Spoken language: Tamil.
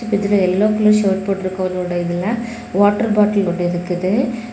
இதுல எல்லோ கலர் ஷர்ட் போட்டு இருக்க அவருடைய இதுல வாட்டர் பாட்டில் ஒன்னு இருக்குது.